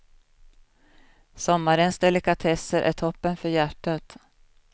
Sommarens delikatesser är toppen för hjärtat.